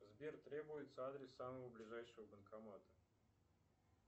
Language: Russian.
сбер требуется адрес самого ближайшего банкомата